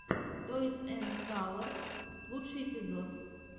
тойс энд калорс лучший эпизод